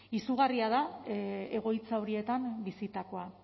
izugarria da egoitza horietan bizitakoa